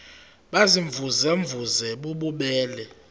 baziimvuze mvuze bububele